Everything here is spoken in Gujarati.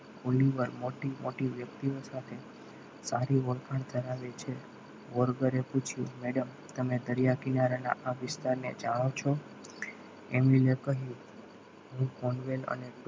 થોડી મોટી મોટી વ્યક્તિઓ સાથે સારી ઓળખાણ કરાવે છે વલગરે પૂછ્યું madam તમે દરિયા કિનારા ના આ વિસ્તારને જાણો છો એમની એ કહ્યું હું કોનવેલ અને